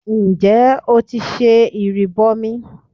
Ǹjẹ́ o ti ṣe ìrìbọmi?